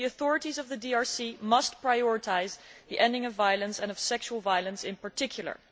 The authorities of the DRC must prioritise the ending of violence and of sexual violence in particular.